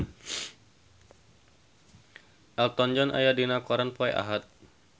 Elton John aya dina koran poe Ahad